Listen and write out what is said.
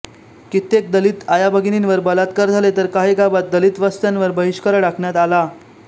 कित्येक दलित आयाभगिनीवर बलात्कार झाले तर काही गावांत दलित वस्त्यांवर बहिष्कार टाकण्यात आला